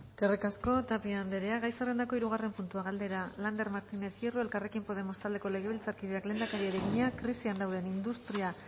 eskerrik asko tapia anderea gai zerrendako hirugarren puntua galdera lander martínez hierro elkarrekin podemos taldeko legebiltzarkideak lehendakariari egina krisian dauden industria